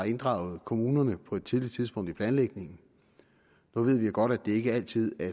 inddraget kommunerne på et tidligt tidspunkt i planlægningen nu ved vi jo godt at det ikke altid er